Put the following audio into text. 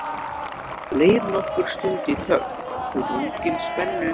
Það leið nokkur stund í þögn, þrungin spennu.